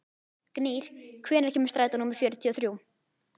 Gnýr, hvenær kemur strætó númer fjörutíu og þrjú?